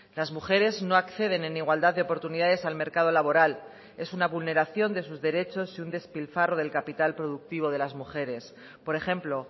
las mujeres no acceden en igualdad de oportunidades al mercado laboral es una vulneración de sus derechos y un despilfarro del capital productivo de las mujeres por ejemplo